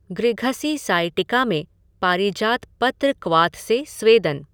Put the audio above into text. गृघसी sciatica में पारिजात पत्र क्वाथ से स्वेदन।